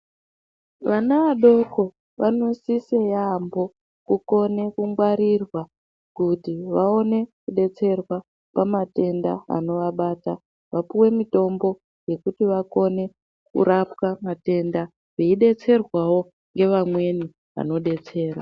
Vana vadoko vanosise yambo kukone kungwarirwa kuti vakone kubetserwa pamatenda anovabata vapuwe mitombo yekuti vakone kurapwa matenda veyi betserwawo nevamweni vanobetsera.